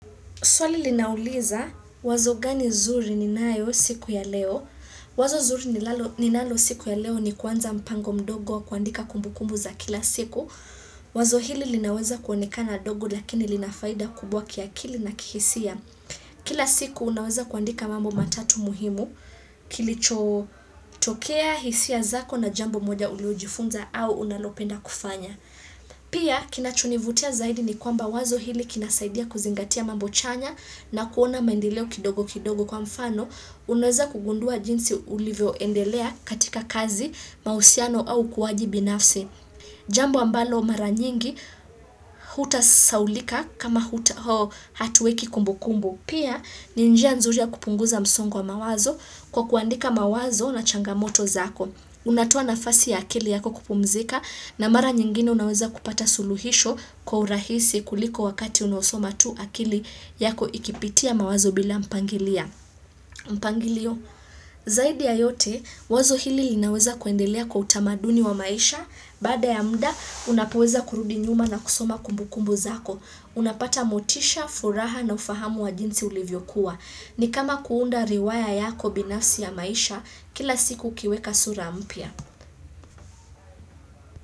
Swali linauliza wazo gani nzuri ninayo siku ya leo. Wazo zuri linalo ninalo siku ya leo ni kuanza mpango mdogo wa kuandika kumbu kumbu za kila siku. Wazo hili linaweza kuonekana na ndogo lakini lina faida kubwa kiakili kihisia. Kila siku unaweza kuandika mambo matatu muhimu. Kilichotokea hisia zako na jambo moja uliojifunza au unalopenda kufanya. Pia kinachonivutia zaidi ni kwamba wazo hili kinasaidia kuzingatia mambo chanya na kuona mandeleo kidogo kidogo kwa mfano unaweza kugundua jinsi ulivyo endelea katika kazi mahusiano au ukuaji binafsi. Jambo ambalo mara nyingi huta saulika kama huta hatuweki kumbu kumbu. Pia ni njia nzuri ya kupunguza msongo mawazo kwa kuandika mawazo na changamoto zako. Unatoa nafasi ya akili yako kupumzika na mara nyingine unaweza kupata suluhisho kwa urahisi kuliko wakati unaosoma tu akili yako ikipitia mawazo bila mpangilia. Mpangilio, zaidi ya yote, wazo hili linaweza kuendelea kwa utamaduni wa maisha baada ya mda, unapoweza kurudi nyuma na kusoma kumbu kumbu zako Unapata motisha, furaha na ufahamu wa jinsi ulivyo kuwa ni kama kuunda riwaya yako binafsi ya maisha kila siku ukiweka sura mpya.